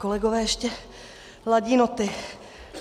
Kolegové ještě ladí noty.